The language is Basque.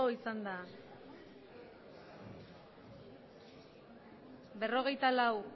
botoak berrogeita hamalau